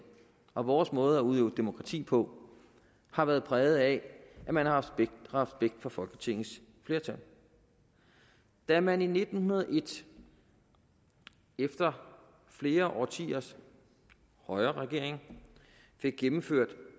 og vores måde at udøve demokrati på har været præget af at man har haft respekt for folketingets flertal da man i nitten hundrede og en efter flere årtiers højreregering fik gennemført